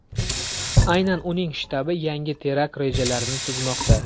Aynan uning shtabi yangi terakt rejalarini tuzmoqda.